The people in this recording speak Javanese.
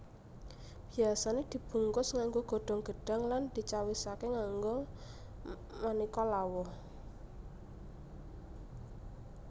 Biyasane dibungkus nganggo godhong gedhang lan dicawisake nganggo maneka lawuh